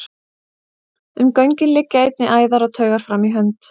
Um göngin liggja einnig æðar og taugar fram í hönd.